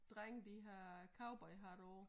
Drenge de har cowboyhatte på